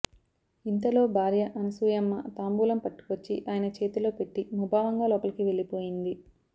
ఇంతలో భార్య అనసూయమ్మ తాంబూలం పట్టుకొచ్చి ఆయన చేతిలో పెట్టి ముభావంగా లోపలకి వెళ్లిపోయింది